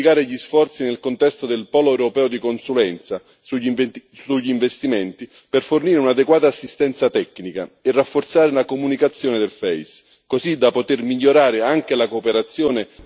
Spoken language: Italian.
Occorre infine intensificare gli sforzi nel contesto del polo europeo di consulenza sugli investimenti per fornire un'adeguata assistenza tecnica e rafforzare la comunicazione dell'EFSI così da poter migliorare anche la cooperazione.